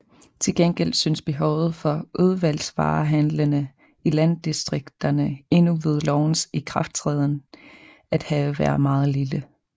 Til gengæld synes behovet for udvalgsvarehandlende i landdistrikterne endnu ved lovens ikrafttræden at have været meget lille